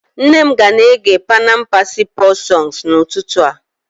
Nne m ga na-ege panam Percy Paul songs n'ụtụtụ a